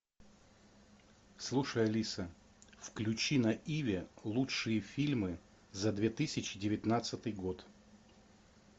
слушай алиса включи на иви лучшие фильмы за две тысячи девятнадцатый год